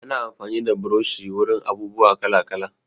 Ana amfani da burushi wurin abubuwa kala-kala.